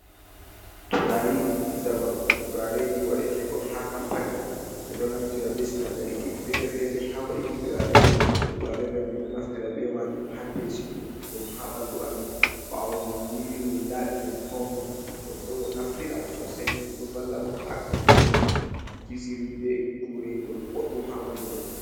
Turaareeji zamanu, turaareeji waɗeteekon haa kampani be ɗo naftira bee sinaadariiji feere-feere haa waɗuki turaare. Turaare man min ɗo naftira bee maajum haa peesuki ɗum haa ɓanndu amin baawo min yiiwi, min laaɓi, min fawni. Ɗum ɗo naftira soosay ɗum ɗo valla bo haa ɓedduki kisiri bee uureengol boɗɗum haa ɓandu goddo.